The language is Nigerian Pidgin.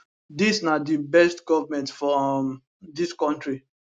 dis na di best goment for um dis kontri